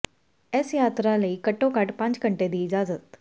ਇਸ ਯਾਤਰਾ ਲਈ ਘੱਟੋ ਘੱਟ ਪੰਜ ਘੰਟੇ ਦੀ ਇਜ਼ਾਜਤ